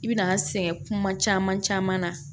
I bi na sɛgɛn kuma caman caman na